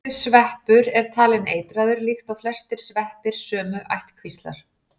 þessi sveppur er talinn eitraður líkt og flestir sveppir sömu ættkvíslar